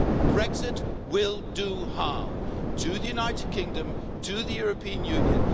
Brexit will do harm to the United Kingdom and to the European Union.